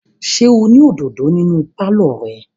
Ṣé o ní òdòdó nínú pálọ̀ rẹ?